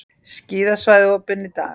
Skíðasvæði opin í dag